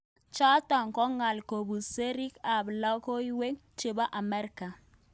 Chotok ko ngal kobun sirik ab lokoiwek chebo Amerika.